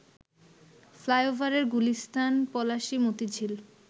ফ্লাইওভারের গুলিস্তান, পলাশী, মতিঝিল